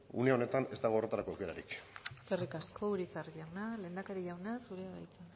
une honetan ez dagoela horretarako aukerarik eskerrik asko urizar jauna lehendakari jauna zurea da hitza